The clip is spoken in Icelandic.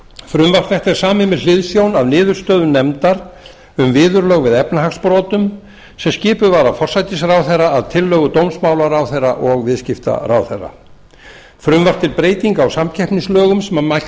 frumvarp þetta er samið með hliðsjón af niðurstöðum nefndar um viðurlög við efnahagsbrotum sem skipuð var af forsætisráðherra að tillögu dómsmálaráðherra og viðskiptaráðherra frumvarp til breytinga á samkeppnislögum sem mælt